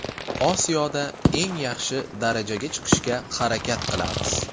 Osiyoda eng yaxshi darajaga chiqishga harakat qilamiz.